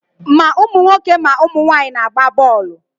Ma ụmụ nwoke ma ụmụ nwaanyị na-agba bọọlụ.